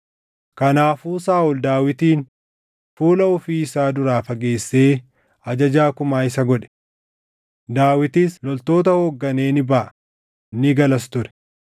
Kanaafuu Saaʼol Daawitin fuula ofii isaa duraa fageessee ajajaa kumaa isa godhe; Daawitis loltoota hoogganee ni baʼa; ni galas ture.